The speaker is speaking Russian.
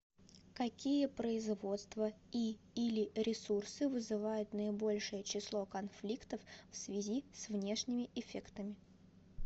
какие производства и или ресурсы вызывают наибольшее число конфликтов в связи с внешними эффектами